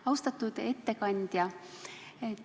Austatud ettekandja!